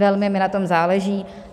Velmi mi na tom záleží.